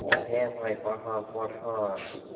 হ্যাঁ ভাই পাঠান পাঠান।